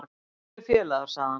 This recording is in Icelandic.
Kæru félagar sagði hann: